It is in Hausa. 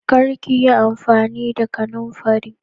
Kar ki yi amfani da kananfari